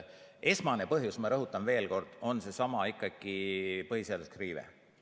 Esmane põhjus, ma rõhutan veel kord, on ikkagi seesama põhiseaduslik riive.